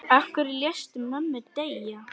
Af hverju léstu mömmu deyja?